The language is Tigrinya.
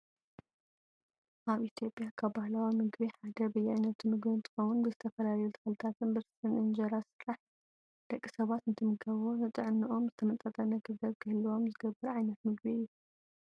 ኣብ ኢትዮጵያ ካብ ባህላዊ ምግቢ ሓደ በያነቱ ምግቢ እንትከውን፣ ብዝተፈላለዩ ተክልታትን ብርስን፣ እንጀራ ዝተሰረሓ እዩ። ደቂ ሰባት እንትምገብዎ ንጥዕኖኦምን ዝተመጣጠነ ክብደት ክህልዎም ዝገብር ዓይነት ምግቢ እዩ።